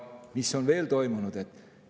Mis on veel toimunud?